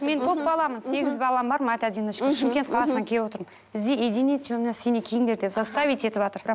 мен көпбаламын сегіз балам бар мать одиночка шымкент қаласынан келіп отырмын бізге синий киіңдер деп заставить етіватыр бір